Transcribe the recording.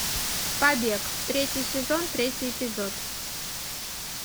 побег третий сезон третий эпизод